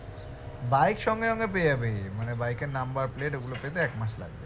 bike সঙ্গে সঙ্গে পেয়ে যাবে মানে bike এর number plate ওগুলো পেতে এক মাস লাগবে